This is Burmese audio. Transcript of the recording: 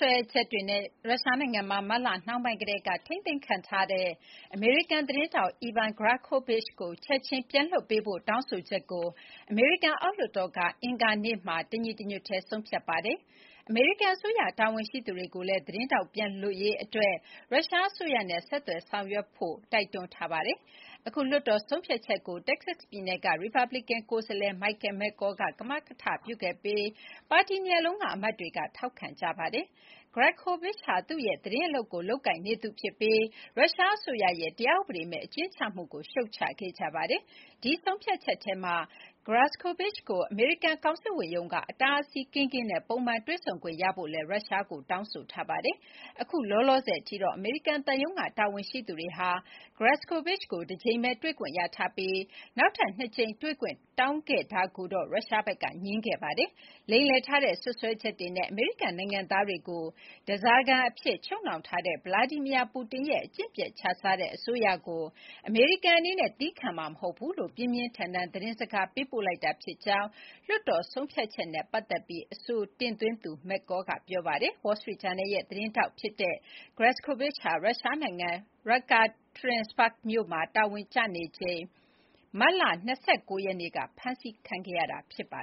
ွဲချက်တွေနဲ့ ရုရှားနိုင်ငံမှာ မတ်လနှောင်းပိုင်းကတည်းက ထိန်းသိမ်းခံထားရတဲ့ အမေရိကန် သတင်းထောက် Evan Gershkovich ကို ချက်ချင်းပြန်လွှတ်ပေးဖို့ တောင်းဆိုချက်ကို အမေရိကန် အောက်လွှတ်တော်က အင်္ဂါနေ့မှာ တညီတညွတ်တည်း ဆုံးဖြတ်လိုက်ပါတယ်။ အမေရိကန်အစိုးရ တာဝန်ရှိသူတွေကိုလည်း သတင်းထောက်ပြန်လွတ်ရေးအတွက် ရုရှားအစိုးရနဲ့ ဆက်သွယ်တောင်းဆို ဆောင်ရွက်ဖို့ တိုက်တွန်းထားပါတယ်။ အခုလွှတ်တော် ဆုံးဖြတ်ချက်ကို တက္ကဆက်ပြည်နယ်က ရီပတ်ဘလီကန် ကိုယ်စားလှယ် Michael McCaul က ကမကထပြုခဲ့ပြီး ပါတီနှစ်ရပ်လုံးက အမတ်တွေက ထောက်ခံခဲ့ကြတာပါ။ Gershkovich ဟာ သူ့ရဲ့ သတင်း အလုပ်ကိုလုပ်ကိုင်နေသူ ဖြစ်ပြီး ရုရှားအစိုးရရဲ့တရားဥပဒေမဲ့ အကျဉ်းချမှုကိုရှုတ်ချခဲ့ကြပါတယ်။ ဒီဆုံးဖြတ်ချက်ထဲမှာ Gershkovich ကို အမေရိကန် ကောင်စစ်ဝန်ရုံးက အတားအဆီးကင်းကင်းနဲ့ ပုံမှန် တွေ့ဆုံခွင့်ရဖို့လည်း ရုရှားကိုတောင်းဆိုထားပါတယ်။ အခုလောလာဆယ်အထိတော့ အမေရိကန်သံရုံးက တာဝန်ရှိသူတွေဟာ Gershkovich ကို တကြိမ်ပဲတွေ့ခွင့်ရထားပြီး နောက်ထပ်နှစ်ကြိမ် တွေ့ခွင့် တောင်းခဲ့တာကိုတော့ ရုရှားဖက်က ငြင်းခဲ့ပါတယ်။ “လိမ်လည်ထားတဲ့ စွပ်စွဲချက်တွေနဲ့ အမေရိကန် နိုင်ငံသားတွေကို ဓားစာခံအဖြစ် ချုပ်နှောင်ထားတဲ့ ဗလာဒီမီယာ ပူတင်ရဲ့ အကျင့်ပျက်ခြစားတဲ့ အစိုးရကိုအမေရိကန်အနေနဲ့ သည်းခံမှာမဟုတ်ဘူးလို့ ပြင်းပြင်းထန်ထန် သတင်းစကား ပေးပို့လိုက်တာ” ဖြစ်ကြောင်း လွှတ်တော်ဆုံးဖြတ်ချက်နဲ့ ပတ်သက်ပြီး အဆိုတင်သွင်းသူ McCaul က ပြောပါတယ်။ Wall Street ဂျာနယ်ရဲ့ သတင်းထောက်ဖြစ်တဲ့ဖြစ်တဲ့ Gershkovich ဟာ ရုရှားနိုင်ငံ Yekaterinburg မြို့မှာ တာဝန်ကျနေချိန် မတ်လ ၂၉ ရက်နေ့က ဖမ်းဆီးခံခဲ့ရတာပါ